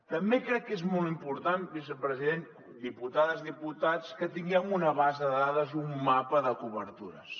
també crec que és molt important vicepresident diputades diputats que tinguem una base de dades un mapa de cobertures